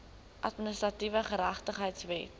administratiewe geregtigheid wet